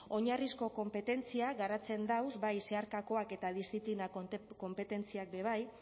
oinarrizko konpetentziak garatzen dauz bai zeharkakoak eta diziplina konpetentziak be bai